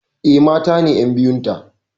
Eh, mata ne ƴan biyun ta.